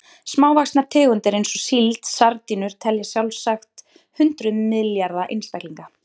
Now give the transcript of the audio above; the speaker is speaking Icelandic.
Smávaxnar tegundir eins og síld og sardínur telja sjálfsagt hundruð milljarða einstaklinga.